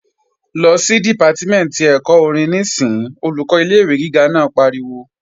Lọ sí Dìpátímẹ̀ntì ẹ̀kọ́ orin níìsín! Olùkọ́ ilé-ìwé gíga naa pariwo